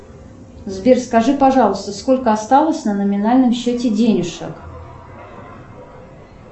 сбер скажи пожалуйста сколько осталось на номинальном счете денежек